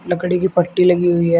लकड़ी की पट्टी लगी हुई है।